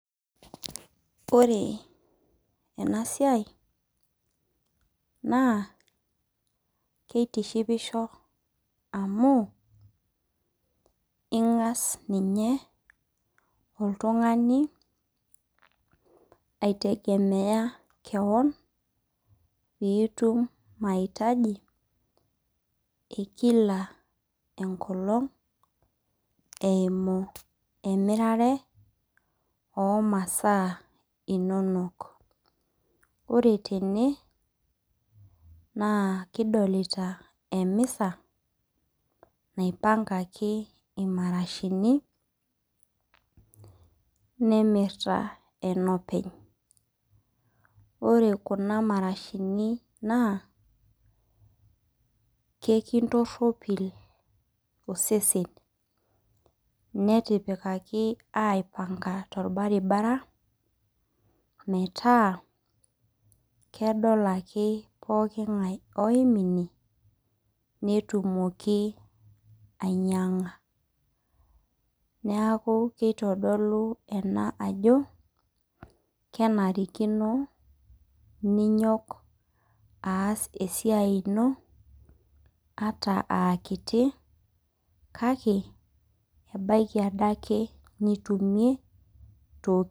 Ore enasiai, naa kitishipisho amu ing'as ninye oltung'ani aitegemea keon, pitum mahitaji ekila enkolong eimu emirare omasaa inonok. Ore tene, naa kidolita emisa, naipankaki imarashini, nemirta enopeny. Ore kuna marashini naa, kekintorropil osesen netipikaki aipanka torbaribara, metaa kedol ake pooking'ae oim ine, netumoki ainyang'a. Neeku kitodolu ena ajo, kenarikino ninyok aas esiai ino, ata akiti kake, ebaiki adake nitumie, toki.